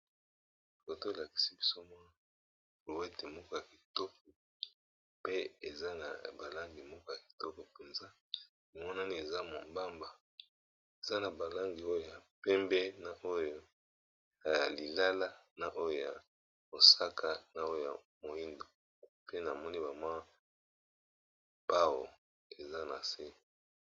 Foto elakisi biso mwa brouette moko ya kitoko pe eza na ba langi moko ya kitoko mpenza emonani eza mombamba eza na ba langi oyo ya pembe na oyo ya lilala na oyo ya mosaka na oyo ya moyindo pe namoni kawa pao eza na se.